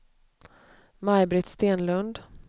Maj-Britt Stenlund